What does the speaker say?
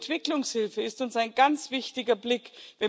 Die Entwicklungshilfe ist uns ein ganz wichtiges Anliegen.